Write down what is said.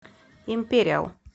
империал